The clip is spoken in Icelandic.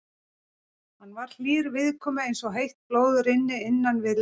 Hann var hlýr viðkomu eins og heitt blóð rynni innan við leðrið.